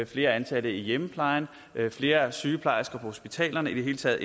flere ansatte i hjemmeplejen flere sygeplejersker på hospitalerne i det hele taget